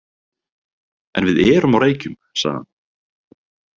En við erum á Reykjum, sagði hann.